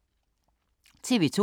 TV 2